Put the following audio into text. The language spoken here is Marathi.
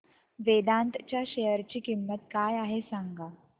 वेदांत च्या शेअर ची किंमत काय आहे सांगा